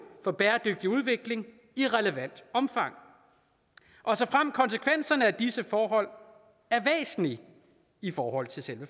for bæredygtig udvikling i relevant omfang og såfremt konsekvenserne af disse forhold er væsentlige i forhold til selve